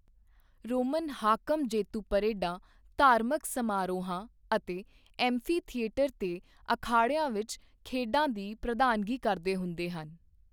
Roman ਹਾਕਮ ਜੇਤੂ ਪਰੇਡਾਂ ਧਾਰਮਿਕ ਸਮਾਰੋਹਾਂ ਅਤੇ ਐਂਫੀਥਿਏਟਰਾਂ ਤੇ ਅਖਾੜਿਆਂ ਵਿਚ ਖੇਡਾਂ ਦੀ ਪ੍ਰਧਾਨਗੀ ਕਰਦੇ ਹੁੰਦੇ ਸਨ।